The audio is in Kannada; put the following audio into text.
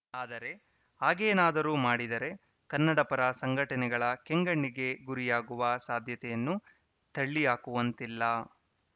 ಆದರೆ ಹಾಗೇನಾದರೂ ಮಾಡಿದರೆ ಕನ್ನಡ ಪರ ಸಂಘಟನೆಗಳ ಕೆಂಗಣ್ಣಿಗೆ ಗುರಿಯಾಗುವ ಸಾಧ್ಯತೆಯನ್ನೂ ತಳ್ಳಿಹಾಕುವಂತಿಲ್ಲ